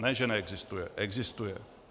Ne že neexistuje, existuje.